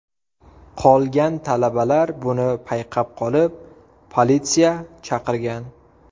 Qolgan talabalar buni payqab qolib, politsiya chaqirgan .